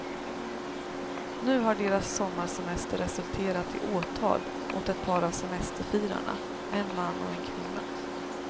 Nu har deras sommarsemester resulterat i åtal mot ett par av semesterfirarna, en man och en kvinna.